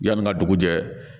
Yanni n ka dugu jɛ